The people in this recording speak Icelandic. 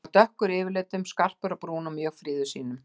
Hann var dökkur yfirlitum, skarpur á brún og mjög fríður sýnum.